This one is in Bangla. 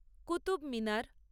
কুতুব মিনার